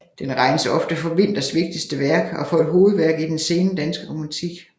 Den regnes ofte for Winthers vigtigste værk og for et hovedværk i den sene danske romantik